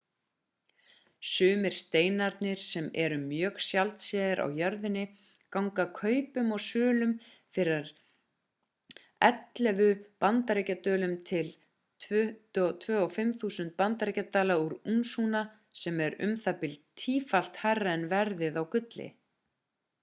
sumir steinarnir sem eru mjög sjaldséðir á jörðinni ganga kaupum og sölum fyrir að 11.000 bandaríkjadölum til 22.500 bandaríkjadala á únsuna sem er um það bil tífalt hærra en verðið á gulli